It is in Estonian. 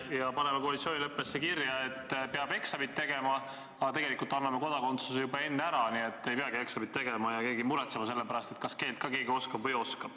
Ja paneme koalitsioonileppesse kirja, et peab eksamid tegema, aga tegelikult anname kodakondsuse, nii et ei peagi eksameid tegema ega muretsema selle pärast, kas riigikeelt ikka oskab või ei oska.